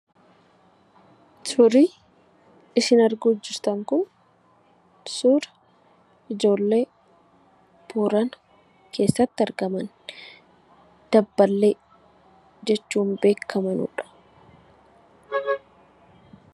Suurri isin arguu jirtan kun suura ijoollee, Boorana keessatti argaman "Dabballee" jechuun beekkamanudha.